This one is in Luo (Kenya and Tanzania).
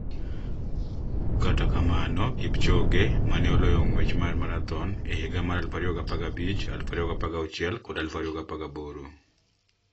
Kata kamano, Kipchoge ma ne oloyo ng'wech mar marathon e higa mar 2015, 2016 kod 2018,